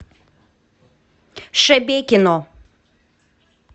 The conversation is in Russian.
шебекино